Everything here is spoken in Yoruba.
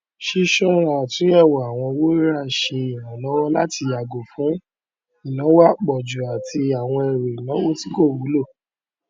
ṣisoọra àtúnyẹwò àwọn owó rira ṣe ìrànlọwọ láti yàgò fún ináwó apújú àti àwọn ẹrù ìnáwó tí kò wúlò